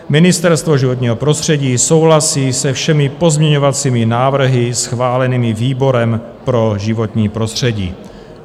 Ministerstvo životního prostředí souhlasí se všemi pozměňovacími návrhy schválenými výborem pro životní prostředí.